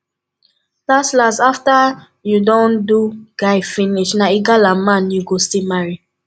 las las after you don do guy finish na igala man you go still marry